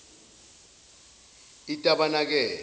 itabanakele